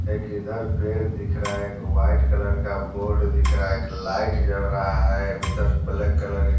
एक इधर पैर दिख रहा है एक वाइट कलर का बोर्ड दिख रहा है एक लाइट जड़ रहा है उधर ब्लैक कलर --